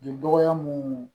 Dɔgɔya mun